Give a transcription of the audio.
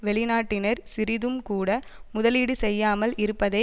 வெளிநாட்டினர் சிறிதும் கூட முதலீடு செய்யாமல் இருப்பதே